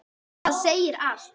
Það segir allt.